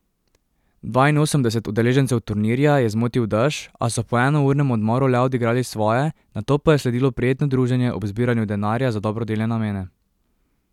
Dvainosemdeset udeležencev turnirja je zmotil dež, a so po enournem odmoru le odigrali svoje, nato pa je sledilo prijetno druženje ob zbiranju denarja za dobrodelne namene.